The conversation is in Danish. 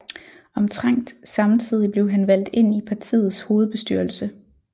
Omtrent samtidig blev han valgt ind i partiets hovedbestyrelse